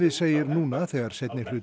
segir núna þegar seinni hluti